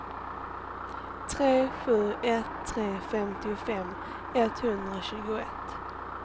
tre sju ett tre femtiofem etthundratjugoett